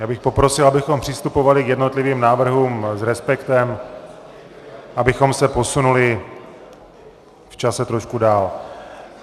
Já bych poprosil, abychom přistupovali k jednotlivým návrhům s respektem, abychom se posunuli v čase trošku dál.